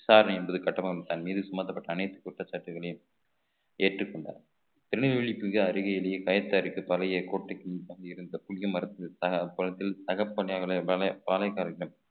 விசாரணை என்பது கட்டபொம்மன் தன் மீது சுமத்தப்பட்ட அனைத்து குற்றச்சாட்டுகளையும் ஏற்றுக்கொண்டார் திருநெல்வேலி பூஜை அருகே கயத்தாறுக்கு தலையை கோட்டைக்குள் தங்கியிருந்த புளிய மரத்தின் தகப்பனை பாளையக்காரர்கள்